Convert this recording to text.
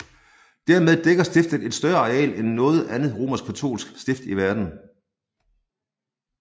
Dermed dækker stiftet et større areal end noget andet romerskkatolsk stift i verden